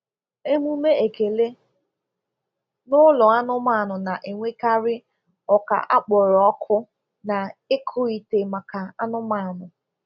Emume ekele n'ụlọ anụmanụ na-enwekarị oka a kpọrọ ọkụ na ịkụ ite maka anụmanụ.